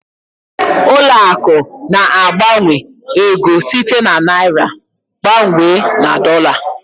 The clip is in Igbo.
Ụlọ akụ̀ na-agbanwe ego site na naịra gbanwee na dọla.